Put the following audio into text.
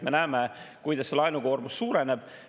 Me näeme, kuidas laenukoormus suureneb.